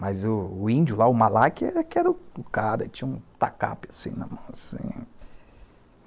Mas o índio lá, o Malaque, que era o cara que tinha um tacape assim na mão, assim.